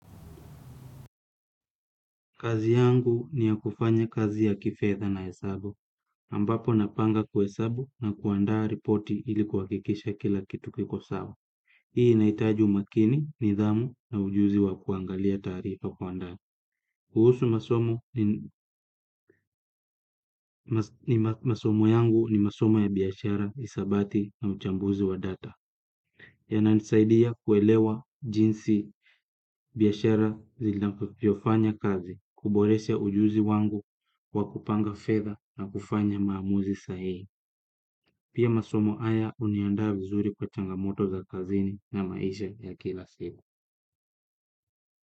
Kazi yangu ni ya kufanya kazi ya kifetha na hesabu, ambapo napanga kwa hesabu na kuandaa ripoti ilikuhakikisha kila kitu kikosawa. Hii inahitaji umakini, nidhamu na ujuzi wa kuangalia taarifa kwandaa. Kuhusu masomo yangu ni masomo ya biashara, hisabati na uchambuzi wa data. Yananisaidia kuelewa jinsi biashara zivyofanya kazi, kuboresha ujuzi wangu, kwa kupanga fedha na kufanya maamuzi sahihi. Pia masomo haya uniandaa vizuri kwa changamoto za kazini na maisha ya kila siku.